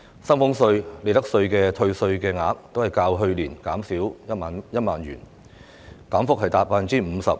薪俸稅和利得稅的退稅額都較去年減少1萬元，減幅達 50%。